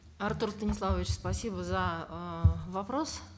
артур станиславович спасибо за э вопрос